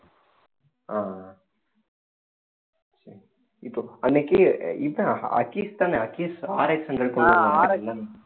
ஆஹ் சரி இப்போ அன்னைக்கு இதான் தானே